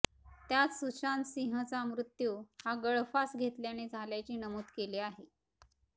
त्यात सुशांतसिंहचा मृत्यू हा गळफास घेतल्याने झाल्याचे नमूद केले आहे